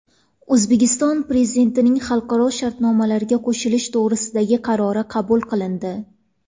O‘zbekiston Prezidentining xalqaro shartnomalarga qo‘shilish to‘g‘risidagi qarori qabul qilindi.